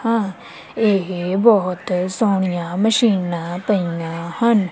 ਹਾਂ ਇਹ ਬੋਹੁਤ ਸੋਹਣੀਆਂ ਮਸ਼ੀਨਾਂ ਪਈਆਂ ਹਨ।